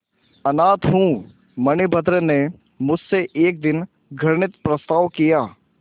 अनाथ हूँ मणिभद्र ने मुझसे एक दिन घृणित प्रस्ताव किया